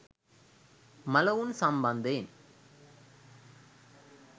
මළවුන් සම්බන්ධයෙන්